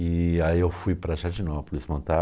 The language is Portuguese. E aí eu fui para Jardinópolis montar.